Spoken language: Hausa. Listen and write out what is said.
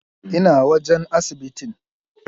Ina wajan asibitin?